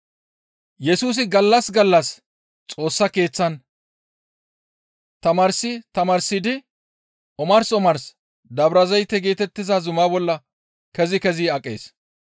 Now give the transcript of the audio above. Yesusi gallas gallas Xoossa Keeththan tamaarsi tamaarsidi omars omars Dabrazayte geetettiza zuma bolla kezi kezi aqees.